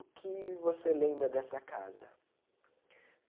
O que você lembra dessa casa?